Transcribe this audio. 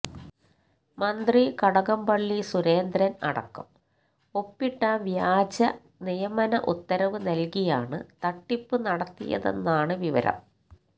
മന്ത്രി കടകംപള്ളി സുരേന്ദ്രൻ അടക്കം ഒപ്പിട്ട വ്യാജ നിയമന ഉത്തരവ് നൽകിയാണ് തട്ടിപ്പ് നടത്തിയതെന്നാണ് വിവരം